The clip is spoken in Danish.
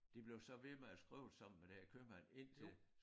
De blev så ved med at skrive sammen med den her købmand indtil